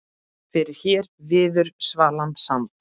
Fyrr hér viður svalan sand